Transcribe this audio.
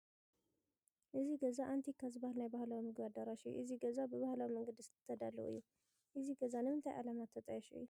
እዚ ገዛ ኣንቲካ ዝበሃል ናይ ባህላዊ ምግቢ ኣዳራሽ እዩ፡፡ እዚ ገዛ ብባህላዊ መንገዲ ዝተዳለወ እዩ፡፡ እዚ ገዛ ንምንታይ ዕላማ ዝተጣየሸ እዩ?